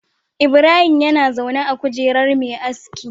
Ibrahim na zaune a kujerar Me aski